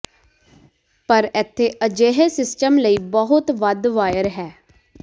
ਪਰ ਇੱਥੇ ਅਜਿਹੇ ਸਿਸਟਮ ਲਈ ਬਹੁਤ ਵੱਧ ਵਾਇਰ ਹੈ